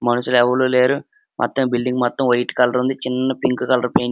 మనుషులు ఎవలూ లేరు మొత్తం ఈ బిల్డింగ్ మొత్తం వైట్ కలర్ ఉంది చిన్న పింక్ కలర్ పెయి --